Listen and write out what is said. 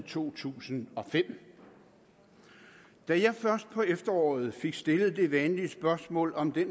to tusind og fem da jeg først på efteråret fik stillet det vanlige spørgsmål om det